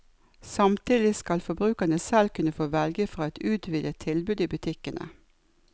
Samtidig skal forbrukerne selv kunne få velge fra et utvidet tilbud i butikkene.